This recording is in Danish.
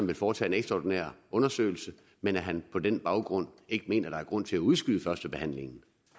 vil foretage en ekstraordinær undersøgelse men at han på den baggrund ikke mener at der er grund til at udskyde førstebehandlingen